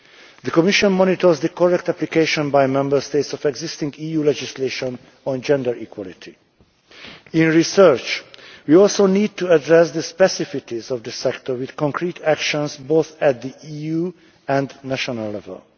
The Commission monitors the correct application by Member States of existing EU legislation on gender equality. In research, we also need to address the specificities of the sector with concrete actions, both at the EU and national level.